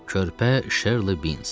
Körpə Şerli Bins.